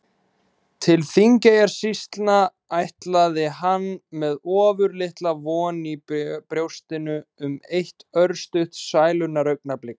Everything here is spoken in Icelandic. Til Þingeyjarsýslna ætlaði hann með ofurlitla von í brjóstinu um eitt örstutt sælunnar augnablik.